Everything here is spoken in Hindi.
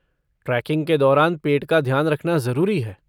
ट्रैकिंग के दौरान पेट का ध्यान रखना ज़रूरी है।